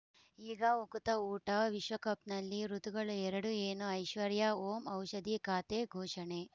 ಈಗ ಉಕುತ ಊಟ ವಿಶ್ವಕಪ್‌ನಲ್ಲಿ ಋತುಗಳು ಎರಡು ಏನು ಐಶ್ವರ್ಯಾ ಓಂ ಔಷಧಿ ಖಾತೆ ಘೋಷಣೆ